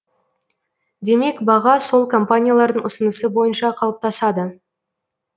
демек баға сол компаниялардың ұсынысы бойынша қалыптасады